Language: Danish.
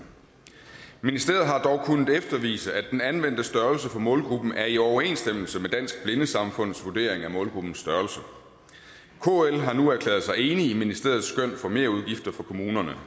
ministeriet har dog kunnet eftervise at den anvendte størrelse på målgruppen er i overensstemmelse med dansk blindesamfunds vurdering af målgruppens størrelse kl har nu erklæret sig enig i ministeriets skøn for merudgifter for kommunerne